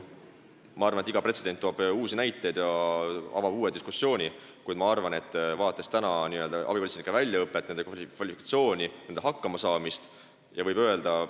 Ma arvan, et iga pretsedent loob uusi näiteid ja avab uue diskussiooni, kuid vaadates abipolitseinike väljaõpet ja nende kvalifikatsiooni, võib öelda, et nad saavad hakkama.